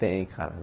Tem, cara.